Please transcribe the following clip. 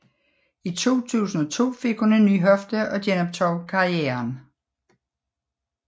I 2002 fik hun en ny hofte og genoptog karrieren